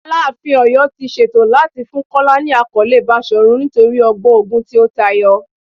Alaafin ti Oyo ti ṣeto lati fun Kola ni akọle Bashorun nitori ọgbọn ogun ti o tayọ